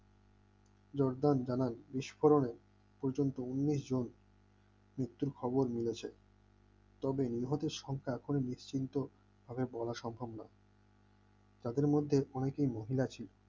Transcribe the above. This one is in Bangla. জরদান দানার বিস্ফোরণে পর্যন্ত উনিশ জন মৃত্যুর খবর মিলেছে তবে নিহত সংখ্যা এখনো নিশ্চিন্তভাবে বলা সম্ভব নয়বলা সম্ভব নয় তাদের মধ্যে অনেকে মহিলা ছিল